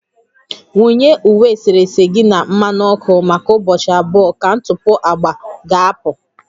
Wunye uwe eserese gị na mmanụ ọkụ maka ụbọchị abụọ ka ntụpọ agba ga-apụ